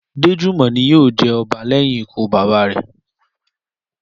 Déjùmọ̀ ni yóò jẹ ọba lẹ́yìn ikú bàbá rẹ̀